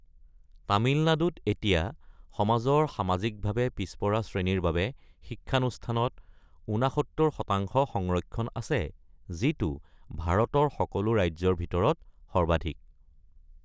তামিলনাডুত এতিয়া সমাজৰ সামাজিকভাৱে পিছপৰা শ্ৰেণীৰ বাবে শিক্ষানুষ্ঠানত ৬৯ শতাংশ সংৰক্ষণ আছে, যিটো ভাৰতৰ সকলো ৰাজ্যৰ ভিতৰত সৰ্বাধিক।